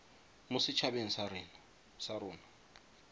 mo set habeng sa rona